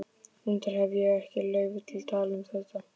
Reyndar hefi ég ekki leyfi til að tala um þetta.